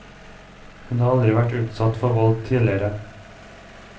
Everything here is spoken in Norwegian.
Hun har aldri vært utsatt for vold tidligere.